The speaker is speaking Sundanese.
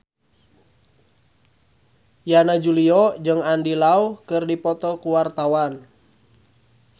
Yana Julio jeung Andy Lau keur dipoto ku wartawan